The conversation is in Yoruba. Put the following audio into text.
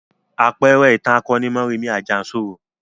Àpẹẹrẹ ìtàn akoni ni Mọ́rẹmì Àjànsorò.